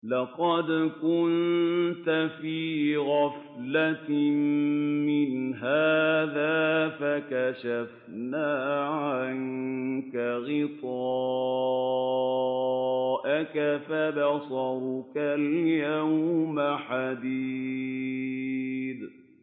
لَّقَدْ كُنتَ فِي غَفْلَةٍ مِّنْ هَٰذَا فَكَشَفْنَا عَنكَ غِطَاءَكَ فَبَصَرُكَ الْيَوْمَ حَدِيدٌ